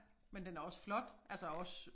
Men den er også flot altså også